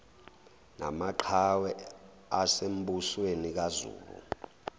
namaqhawe asembusweni kazulu